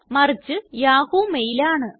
മറിച്ച് Yahoo mail ആണ്